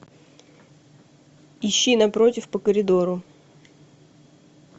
ищи напротив по коридору